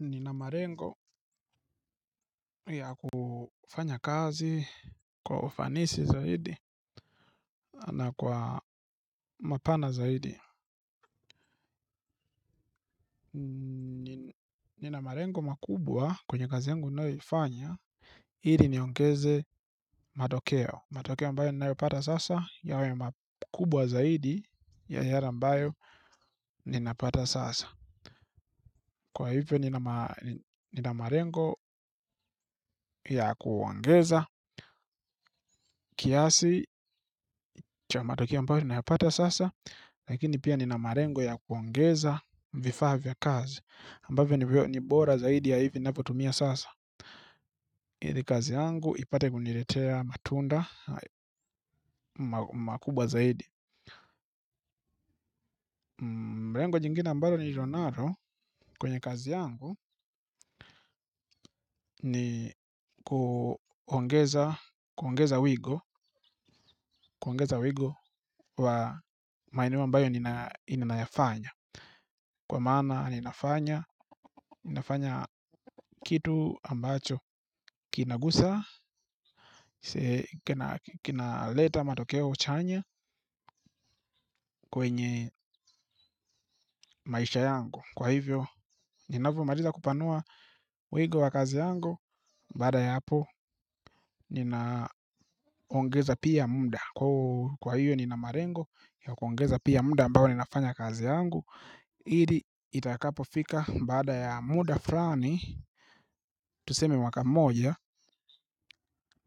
Nina malengo ya kufanya kazi kwa ufanisi zaidi na kwa mapana zaidi. Nina malengo makubwa kwenye kazi yangu nayoifanya ili niongeze matokeo. Matokeo ambayo ninayopata sasa yawe makubwa zaidi ya yale ambayo nina pata sasa. Kwa hivyo nina malengo ya kuongeza kiasi cha matokeo mbayo ninayapata sasa. Lakini pia nina malengo ya kuongeza vifaa vya kazi ambavyo ni bora zaidi ya hivi navyotumia sasa. Ili kazi yangu ipate kunilea matunda makubwa zaidi. Mrengo nyingine ambalo nililo nalo kwenye kazi yangu ni kuongeza wigo. Kuongeza wigo wa maeneo ambayo ninayafanya kwa maana ninafanya kitu ambacho kina gusa, kina leta matokeo chanya kwenye maisha yangu. Kwa hivyo, ninavyo maliza kupanua wigo wa kazi yangu, baada ya hapo ninaongeza pia muda. Kwa hivyo nina malengo, ya kuongeza pia muda ambao ninafanya kazi yangu. Ili itakapo fika bada ya muda fulani tuseme mwaka mmoja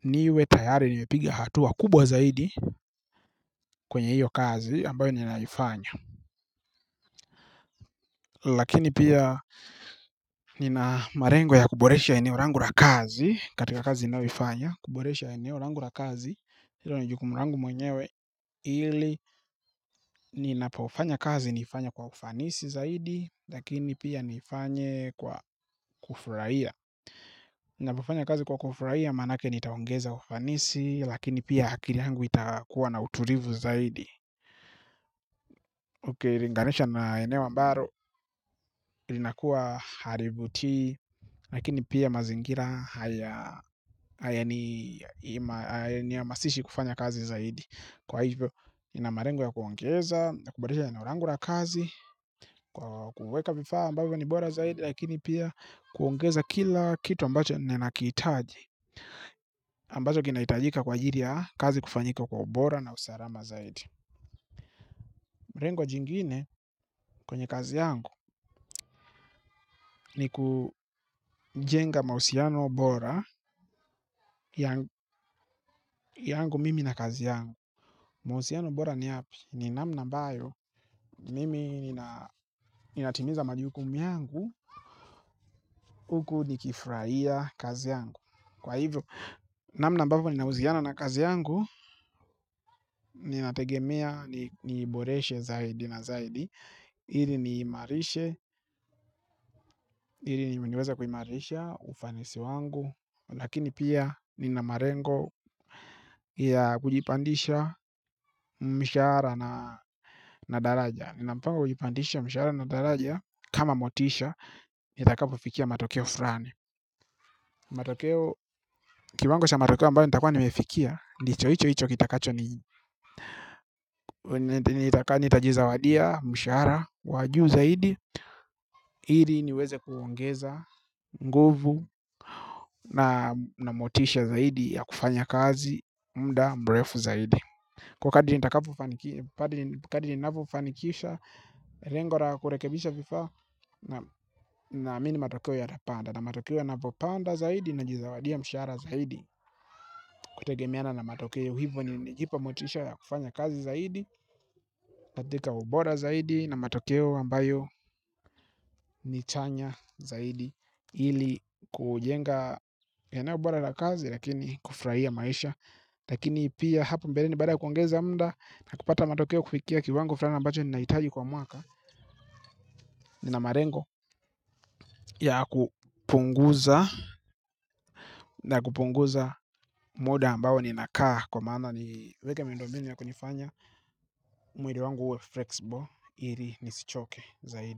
niwe tayari nimepigia hatua kubwa zaidi. Kwenye iyo kazi ambayo ninaifanya lakini pia nina malengo ya kuboresha eneo langu la kazi. Katika kazi ninayoifanya kuboresha eneo langu la kazi hiIlo ni jukumu langu mwenyewe ili ninapo fanya kazi nifanye kwa kufanisi zaidi. Lakini pia niifanye kwa kufurahia. Napofanya kazi kwa kufurahia manake nitaongeza ufanisi. Lakini pia akili yangu itakuwa na utulivu zaidi. Uki linganisha na eneo mbalo ilinakua halivutii. Lakini pia mazingira haya amasishi kufanya kazi zaidi. Kwa hivyo nina malengo ya kuongeza na kuboresha eneo langu la kazi kwa kuweka vifaa ambavyo ni bora zaidi lakini pia kuongeza kila kitu ambacho nina kihitaji ambacho kina hitajika kwa ajili ya kazi kufanyika kwa ubora na usalama zaidi. Mrengo jingine kwenye kazi yangu ni kujenga mahusiano obora yangu mimi na kazi yangu. Mahusiano bora ni yapi ni namna ambayo mimi ninatimiza majukumu yangu huku nikifurahia kazi yangu kwa hivyo namna ambavyo ni ninahusiana na kazi yangu nina tegemea niiboreshe zaidi na zaidi ili niimarishe, ili niweza kuimarisha, ufanisi wangu lakini pia nina malengo ya kujipandisha mshahara na daraja nina mpango kujipandisha mshahara na daraja kama motisha, nitakapo fikia matokeo fulani matokeo, kiwango sha matokeo ambayo nitakua nimefikia ndicho ichoicho kitakacho, nita jizawadia, mshahara, wajuu zaidi ili niweze kuongeza nguvu na motisha zaidi ya kufanya kazi, mda mrefu zaidi. Kwa kadri nivyo fanikisha, lengo la kurekebisha vifaa naamini matokeo yata panda. Na matokeo yanapo panda zaidi najizawadia mshahara zaidi. Kutegemeana na matokeo hivyo ni jipa motisha ya kufanya kazi zaidi, katika ubora zaidi na matokeo ambayo ni chanya zaidi ili kujenga yanayo bora la kazi lakini kufurahia maisha lakini pia hapo mbeleni baada kuongeza mda na kupata matokeo kufikia kiwango fulani ambacho ninahitaji kwa mwaka nina malengo ya kupunguza na kupunguza muda ambao nina kaa kwa maana ni weke miundo mbinu ya kunifanya mwili wangu uwe flexible ili nisichoke zaidi.